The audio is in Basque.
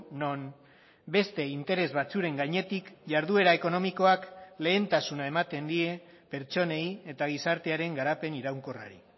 non beste interes batzuen gainetik jarduera ekonomikoak lehentasuna ematen die pertsonei eta gizartearen garapen iraunkorrari